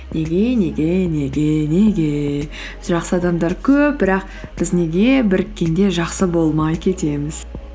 неге неге неге неге жақсы адамдар көп бірақ біз неге біріккенде жақсы болмай кетеміз